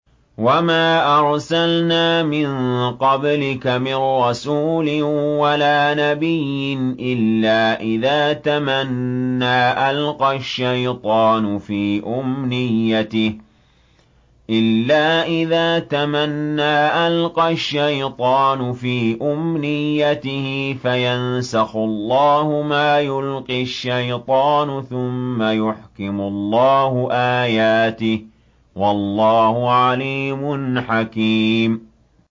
وَمَا أَرْسَلْنَا مِن قَبْلِكَ مِن رَّسُولٍ وَلَا نَبِيٍّ إِلَّا إِذَا تَمَنَّىٰ أَلْقَى الشَّيْطَانُ فِي أُمْنِيَّتِهِ فَيَنسَخُ اللَّهُ مَا يُلْقِي الشَّيْطَانُ ثُمَّ يُحْكِمُ اللَّهُ آيَاتِهِ ۗ وَاللَّهُ عَلِيمٌ حَكِيمٌ